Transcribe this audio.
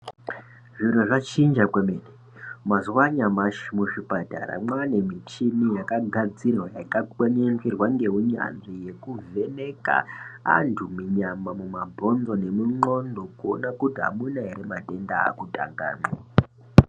Zviro zvachinja kwemene mazuva anyamashi muzvipatara mwane michina yakagadzirwa yakakwenenzwerwa ngeunyanzvi yekuvheneka antu munyama mumabhonzo nemundxondo kuona kuti anuma ere matenda akutangamwo.